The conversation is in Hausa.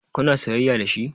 Kuna soyayya dashi?